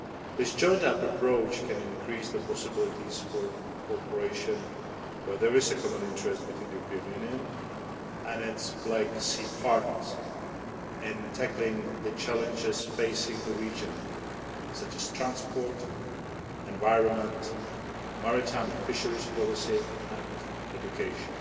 This joined up approach can increase the possibilities for cooperation where there is a common interest between the European Union and its Black Sea partners in tackling the challenges facing the region, such as transport, environment, maritime and fisheries policy and education.